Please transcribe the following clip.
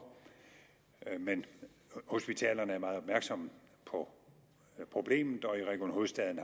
men hospitalerne er meget opmærksomme på problemet og i region hovedstaden